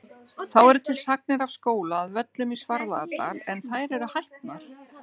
Þá eru til sagnir af skóla að Völlum í Svarfaðardal en þær eru hæpnar.